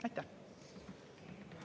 Aitäh!